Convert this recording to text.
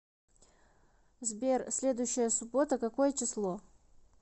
сбер следующая суббота какое число